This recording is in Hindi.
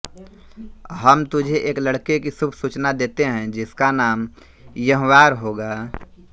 हम तुझे एक लड़के की शुभ सूचना देते है जिसका नाम यह्यार होगा